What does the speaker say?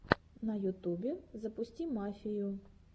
на ютубе запусти мафию